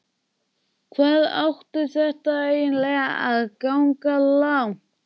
Hvað átti þetta eiginlega að ganga langt?